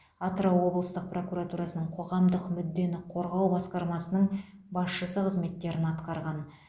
атырау облыстық прокуратурасының қоғамдық мүддені қорғау басқармасының басшысы қызметтерін атқарған